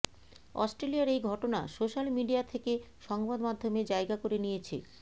অস্ট্রেলিয়ার এই ঘটনা সোশ্যাল মিডিয়া থেকে সংবাদ মাধ্যমে জায়গা করে নিয়েছে